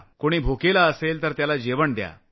कुणी उपाशी असेल तर त्याला जेवण द्या